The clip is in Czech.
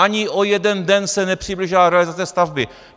Ani o jeden den se nepřiblížila realizace stavby.